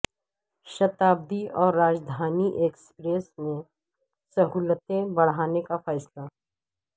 شتابدی اور راجدھانی ایکسپریس میں سہولتیں بڑھانے کا فیصلہ